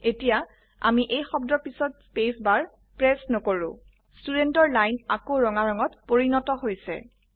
এতিয়া আমি এই শব্দৰ পিছত স্পেস বাৰ প্ৰেচ নকৰো ষ্টুডেণ্ট ৰ লাইন আকৌ ৰঙা ৰঙত পৰিণত হৈছে160